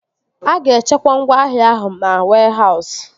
A ga-echekwa ngwaahịa ahụ na wehause